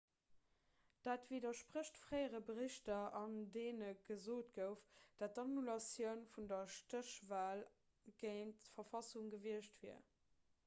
dat widdersprécht fréiere berichter an deene gesot gouf datt d'annulatioun vun der stéchwal géint d'verfassung gewiescht wier